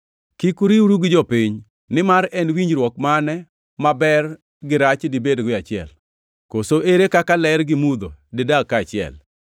Kik uriwru gi jopiny. Nimar en winjruok mane ma ber gi rach dibedgo e achiel? Koso ere kaka ler gi mudho didag kaachiel?